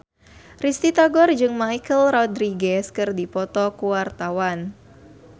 Risty Tagor jeung Michelle Rodriguez keur dipoto ku wartawan